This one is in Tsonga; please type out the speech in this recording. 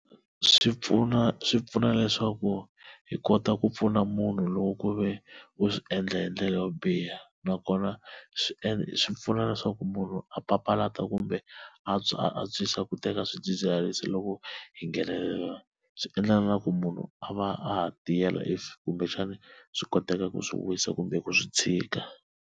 Swi pfuna swi pfuna leswaku hi kota ku pfuna munhu loko ku ve u swi endla hi ndlela yo biha, nakona swi endla swi pfuna leswaku munhu a papalata ku kumbe a antswisa ku teka swidzidziharisi loko hi nghenelela swi endlela na ku munhu a va a ha tiyela if kumbexana swi koteka ku swi wisa kumbe ku swi tshika.